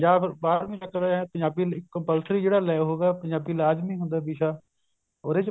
ਜਾਂ ਫੇਰ ਬਾਰਵੀ ਤੱਕਰ ਪੰਜਾਬੀ compulsory ਜਿਹੜਾ ਹੋਗਿਆ ਪੰਜਾਬੀ ਲਾਜ਼ਮੀ ਹੁੰਦਾ ਵਿਸ਼ਾ ਉਹਦੇ ਚ